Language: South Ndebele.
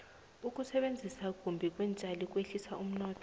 ukusetjenziswa kumbi kweentjali kwehlisa umnotho